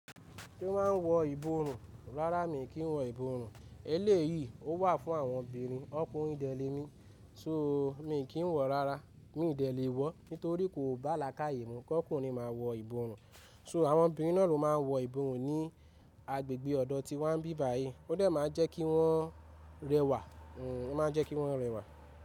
Ṣé wọ́n ń wọ ìborùn? Rárá, mi kì í wọ ìborùn. Eléyìí ó wà fún àwọn obìnrin. Ọkùnrin dèlé mi, so, mi kì í wọ̀ rárá. Mi ò dẹ̀ lé wọ́ nítorí kò bá alákàyè mú kí ọkùnrin máa wọ ìborùn. So, àwọn obìnrin náà ló máa ń wọ ìborùn ní agbègbè ọ̀dọ́ tí wa bí báyìí. Ó dà máa ń jẹ́ kí wọ́n rẹwà. Hmmm ó ma ń jẹ́ kí wọ́n rẹwà.